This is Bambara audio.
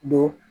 Don